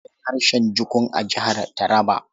Akwai harshen Jukun a Jihar Taraba.